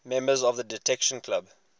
members of the detection club